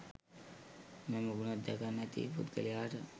මෙම ගුණ දෙක නැති පුද්ගලයාට